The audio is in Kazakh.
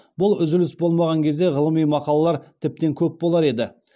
бұл үзіліс болмаған кезде ғылыми мақалалар тіптен көп болар еді